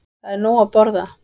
Það er nóg að borða.